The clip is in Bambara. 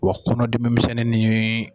Wa kɔnɔdimi misɛnnin nin.